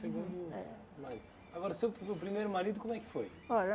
Agora, seu primeiro marido, como é que foi?